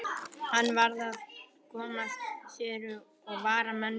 Hann varð að komast suður og vara menn við.